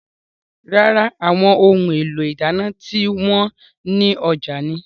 Rárá, àwọn ohun èlò ìdáná tí wọn ní ọjà ni.